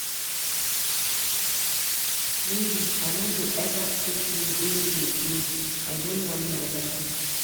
Baby, I no go eva take you dey play-play, I don learn my lesson.